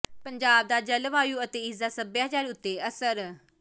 ਪੰਜਾਬ ਦਾ ਜਲਵਾਯੂ ਅਤੇ ਇਸ ਦਾ ਸੱਭਿਆਚਾਰ ਉਤੇ ਅਸਰ